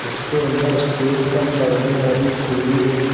इसके अंदर स्टेज का चढ़ने वाली सीढ़ी है।